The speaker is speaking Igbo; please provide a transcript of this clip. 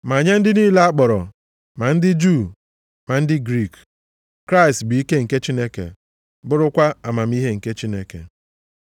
Ma nye ndị niile a kpọrọ, ma ndị Juu ma ndị Griik, Kraịst bụ ike nke Chineke bụrụkwa amamihe nke Chineke.